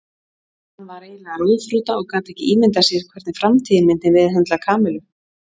Hann var eiginlega ráðþrota og gat ekki ímyndað sér hvernig framtíðin myndi meðhöndla Kamillu.